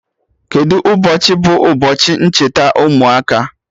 Kedụ ụbọchị bụ ụbọchi ncheta ụmụaka?